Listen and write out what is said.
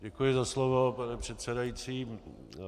Děkuji za slovo, pane předsedající.